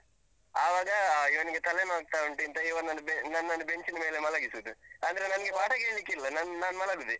ಆವಾಗ ಅಹ್ ಇವನಿಗೆ ತಲೆನೋವಾಗ್ತಾ ಉಂಟು ಇಂತ ಇವನನ್ನು ಅಹ್ ನನ್ನನ್ನು bench ನ ಮೇಲೆ ಮಲಗಿಸುದು. ಅಂದ್ರೆ ನನ್ಗೆ ಪಾಠ ಕೇಳ್ಳಿಕ್ಕಿಲ್ಲ. ನನ್~ ನಾನ್ ಮಲಗುದೇ.